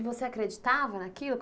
E você acreditava naquilo?